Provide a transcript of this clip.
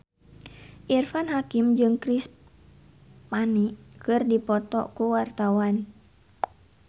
Irfan Hakim jeung Chris Pane keur dipoto ku wartawan